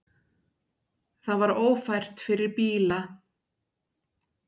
Það var ófært fyrir bíla.